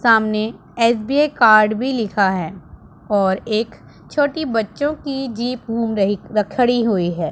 सामने SBI card भी लिखा है और एक छोटी बच्चों की जीप घूम रही खड़ी हुई है।